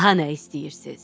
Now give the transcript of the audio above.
Daha nə istəyirsiz?